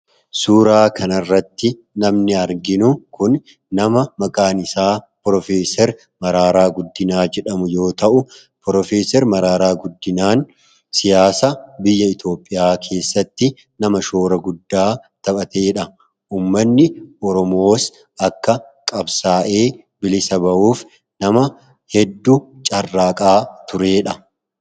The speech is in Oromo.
Suuraa kanarratti namni arginu kuni nama maqaan isaa Piroofeser Mararaa Guddinaa jedhamu yoo ta'u, Piroofeser Mararaa Guddinaan siyaasa biyya Itoophiyaa keessatti nama shoora guddaa taphatedha. Uummatni Oromoos akka qabsaa'ee bilisa ba'uuf nama hedduu carraaqaa turedha.